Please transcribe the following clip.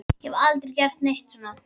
Ég hef aldrei gert neitt svona.